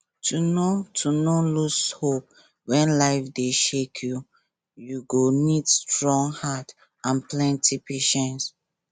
to no to no lose hope when life dey shake you you go need strong heart and plenty patience